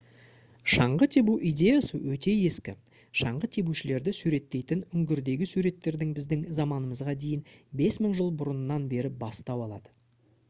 шаңғы тебу идеясы өте ескі шаңғы тебушілерді суреттейтін үңгірдегі суреттердің біздің заманымызға дейін 5000 жыл бұрыннан бері бастау алады